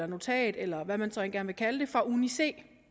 notat eller hvad man så end vil kalde det fra uni c det